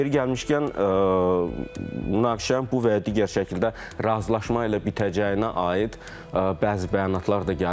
Yeri gəlmişkən, münaqişənin bu və ya digər şəkildə razılaşma ilə bitəcəyinə aid bəzi bəyanatlar da gəlib.